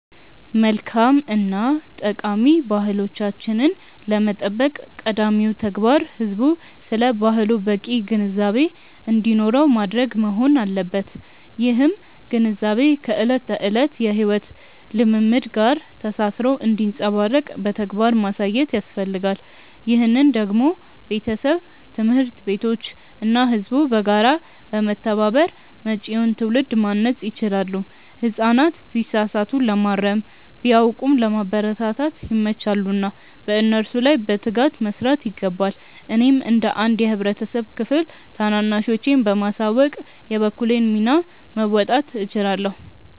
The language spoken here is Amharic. መልካም እና ጠቃሚ ባህሎቻችንን ለመጠበቅ ቀዳሚው ተግባር ህዝቡ ስለ ባህሉ በቂ ግንዛቤ እንዲኖረው ማድረግ መሆን አለበት። ይህም ግንዛቤ ከዕለት ተዕለት የሕይወት ልምምድ ጋር ተሳስሮ እንዲንጸባረቅ በተግባር ማሳየት ያስፈልጋል። ይህንን ደግሞ ቤተሰብ፣ ትምህርት ቤቶች እና ህዝቡ በጋራ በመተባበር መጪውን ትውልድ ማነጽ ይችላሉ። ህጻናት ቢሳሳቱ ለማረም፣ ቢያውቁም ለማበረታታት ይመቻሉና በእነሱ ላይ በትጋት መስራት ይገባል። እኔም እንደ አንድ የህብረተሰብ ክፍል ታናናሾቼን በማሳወቅ የበኩሌን ሚና መወጣት እችላለሁ።